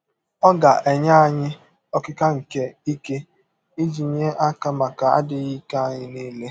Ọ ga - enye anyị “ ọkịka nke ike ” iji nye aka maka adịghị ike anyị nile.